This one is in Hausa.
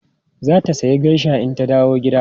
Za ta sayi geisha in tana dawowa gida.